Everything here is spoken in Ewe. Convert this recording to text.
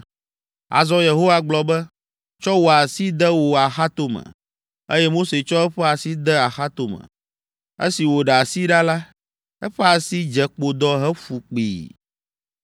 Azɔ Yehowa gblɔ be, “Tsɔ wò asi de wò axatome.” Eye Mose tsɔ eƒe asi de axatome. Esi wòɖe asi ɖa la, eƒe asi dze kpodɔ hefu kpĩi.